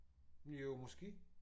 Jo måske